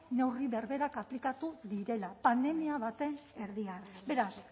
neurri berberak aplikatu direla pandemia baten erdian beraz